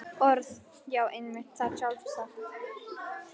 Orð.- Já, einmitt, það er sjálfsagt.